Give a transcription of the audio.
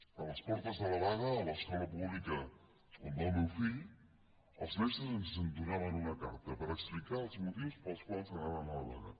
a les portes de la vaga a l’escola pública on va el meu fill els mestres ens donaven una carta per explicar els motius pels quals anaven a la vaga